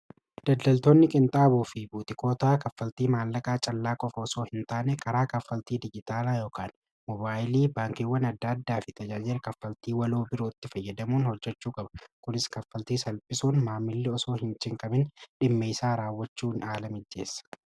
Daldaltoonni qinxaaboo fi butiikootaa kaffaltii maallaqaa callaa qofa osoo hin taane karaa kaffaltii dijitaalaa yookaan mobaayilii baankiiwwan adda addaa fi tajaajira kaffaltii waloo birootti fayyadamuun hojjachuu kaba kunis kaffaltii salbisuun maamilli osoo hin chinqamin dhimmeeysaa raawwachuu hin haala mijjeessa.